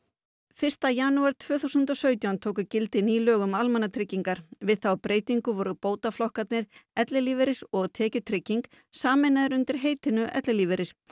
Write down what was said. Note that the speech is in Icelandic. fyrsta janúar tvö þúsund og sautján tóku gildi ný lög um almannatryggingar við þá lagabreytingu voru bótaflokkarnir ellilífeyrir og tekjutrygging sameinaðir undir heitinu ellilífeyrir